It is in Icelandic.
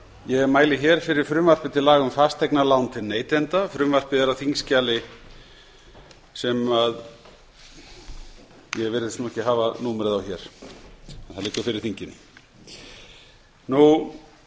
ég mæli fyrir frumvarpi til laga um fasteignalán til neytenda frumvarpið er á þingskjali fimm hundruð og nítján og er þrjú hundruð áttugasta og þriðja mál þingsins